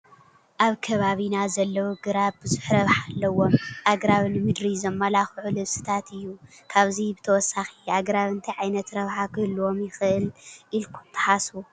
ኣብ ከባቢና ዘለዉ ግራብ ብዙሕ ረብሓ ኣለዎም፡፡ ኣግራብ ንምድሪ ዘመላክዑ ልብስታት እዩ፡፡ ካብዚ ብተወሳኺ ኣግራብ እንታይ ዓይነት ረብሓ ክህልዎም ይኽእእል ኢልኩም ትሓስቡ?